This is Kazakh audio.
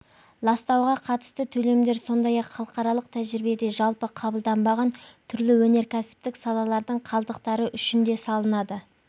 ластауға қатысты төлемдер сондай-ақ халықаралық тәжірибеде жалпы қабылданбаған түрлі өнеркәсіптік салалардың қалдықтары үшін де салынады